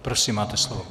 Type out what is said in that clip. Prosím máte slovo.